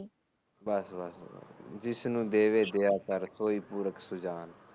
ਬਸ ਬਸ ਜਿਸ ਨੂੰ ਦੇਵੇ ਦਿਆ ਕਰ ਤੂੰ ਹੀ ਦੇਵੇ